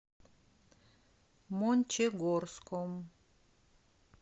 мончегорском